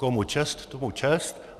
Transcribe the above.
Komu čest, tomu čest.